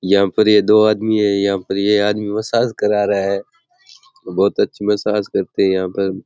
यहा पर ये दो आदमी है यहा पर ये आदमी मसाज करा रहा है बहुत अच्छी मसाज करते हैं यहां पर।